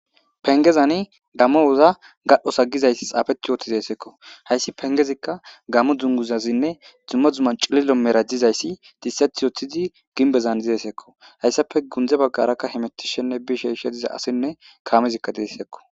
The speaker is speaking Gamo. Pengezani dammowoza gadhdhosagizayssi xaafeti yoothi zeesekko hayssi pengezikka gamo dunguzazinne dzumma dzumma cililo merajizayssi disset othidi ginbezan dizeesekko hayssafe gundze baggarakka hemetishenne bisheshe diza asinne kaamezikka deessekko.